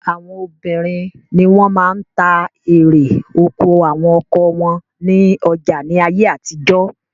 Àwọn obìnrin ni wọ́n máa ń ta erè oko àwọn ọkọ wọn ní ọjà ní ayé àtijọ́.